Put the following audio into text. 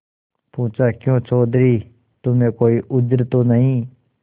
पूछाक्यों चौधरी तुम्हें कोई उज्र तो नहीं